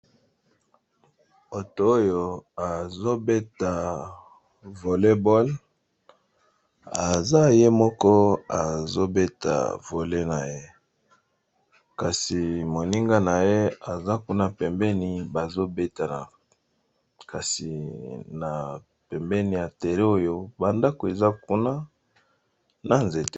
Moto oyo azobeta vole bol aza ye moko azobeta vole na ye, kasi moninga na ye aza kuna pembeni bazo betana kasi na pembeni ya terrain oyo bandako eza kuna na nzeta